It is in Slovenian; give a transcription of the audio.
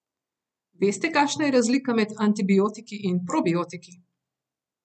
Veste, kakšna je razlika med antibiotiki in probiotiki?